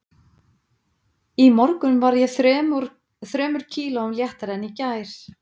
Í morgun var ég þremur kílóum léttari en í gær